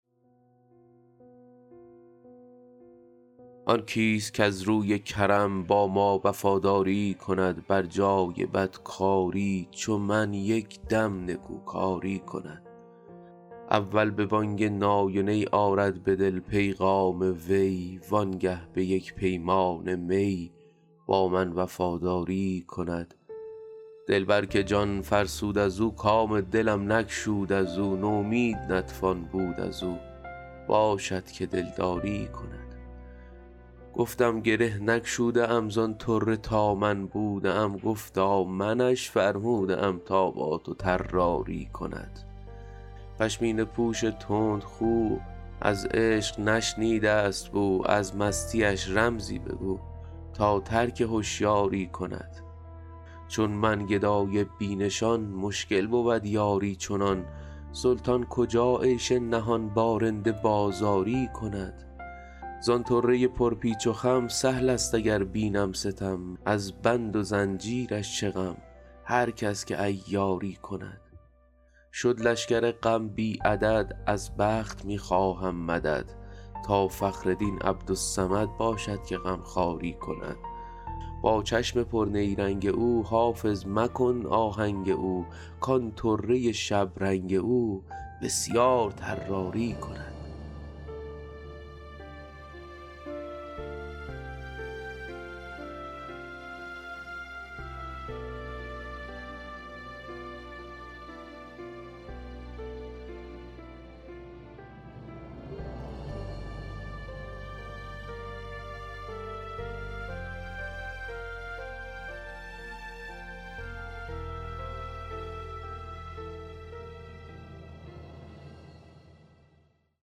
آن کیست کز روی کرم با ما وفاداری کند بر جای بدکاری چو من یک دم نکوکاری کند اول به بانگ نای و نی آرد به دل پیغام وی وانگه به یک پیمانه می با من وفاداری کند دلبر که جان فرسود از او کام دلم نگشود از او نومید نتوان بود از او باشد که دلداری کند گفتم گره نگشوده ام زان طره تا من بوده ام گفتا منش فرموده ام تا با تو طراری کند پشمینه پوش تندخو از عشق نشنیده است بو از مستیش رمزی بگو تا ترک هشیاری کند چون من گدای بی نشان مشکل بود یاری چنان سلطان کجا عیش نهان با رند بازاری کند زان طره پرپیچ و خم سهل است اگر بینم ستم از بند و زنجیرش چه غم هر کس که عیاری کند شد لشکر غم بی عدد از بخت می خواهم مدد تا فخر دین عبدالصمد باشد که غمخواری کند با چشم پرنیرنگ او حافظ مکن آهنگ او کان طره شبرنگ او بسیار طراری کند